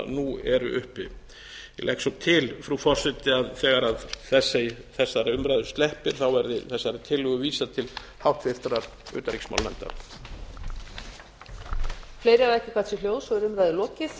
nú eru uppi ég legg svo til frú forseti að þegar þessari umræðu sleppir verði þessari tillögu vísað til háttvirtrar utanríkismálanefndar